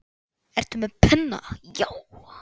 Ertu með penna, já.